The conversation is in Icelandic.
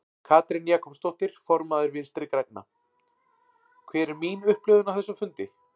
Katrín Jakobsdóttir, formaður Vinstri grænna: Hver er mín upplifun af þessum fundi?